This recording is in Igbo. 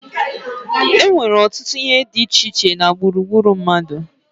E nnwere ọtụtụ ihe di iche iche na gburugburu mmadu